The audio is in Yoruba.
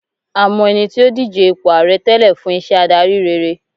a mọ ẹni tí o dije ipo ààrẹ tẹlẹ fún iṣẹ adari rere